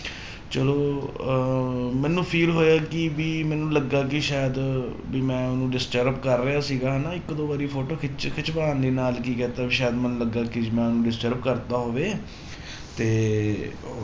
ਚਲੋ ਅਹ ਮੈਨੂੰ feel ਹੋਇਆ ਕਿ ਵੀ ਮੈਨੂੰ ਲੱਗਾ ਕਿ ਸ਼ਾਇਦ ਵੀ ਮੈਂ ਉਹਨੂੰ disturb ਕਰ ਰਿਹਾ ਸੀਗਾ ਹਨਾ ਇੱਕ ਦੋ ਵਾਰੀ photo ਖਿਚ ਖਿਚਵਾਉਣ ਦੇ ਨਾਲ ਕੀ ਕਹਿਤਾ ਸ਼ਾਇਦ ਮੈਨੂੰ ਲੱਗਾ ਕਿ ਮੈਂ ਉਹਨੂੰ disturb ਕਰ ਦਿੱਤਾ ਹੋਵੇ ਤੇ